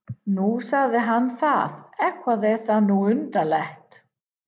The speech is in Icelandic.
Nú, sagði hann það, eitthvað er það nú undarlegt.